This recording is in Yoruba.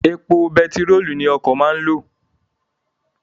Èpo bentirolu ni okọ̀ máa ń lo